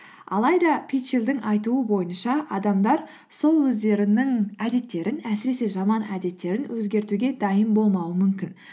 алайда питчелдің айтуы бойынша адамдар сол өздерінің әдеттерін әсіресе жаман әдеттерін өзгертуге дайын болмауы мүмкін